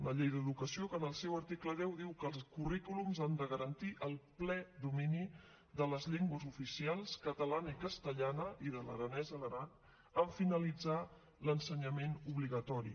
una llei d’educació que en el seu article deu diu que els currículums han de garantir el ple domini de les llengües oficials catalana i castellana i de l’aranès a l’aran en finalitzar l’ensenyament obligatori